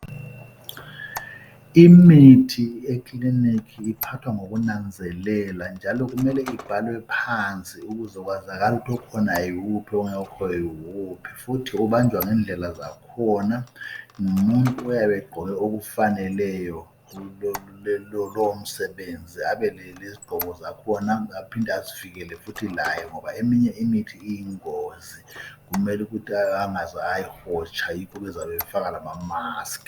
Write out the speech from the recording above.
Imithi ekiliniki iphathwa ngoku nanzelela njalo kumele ibhalwe phansi ukuze kwazakale ukuthi okhona wuphi ongekhoyo wuphi, futhi ubanjwa ngendlela zakhona ngumuntu oyabe egqoke okufaneleyo lowo msebenzi abe lezigqoko zakhona aphinde azivikele futhi laye ngoba eminye imithi iyingozi kumele ukuthi angaze ayihotsha yikho befaka lama maskhi.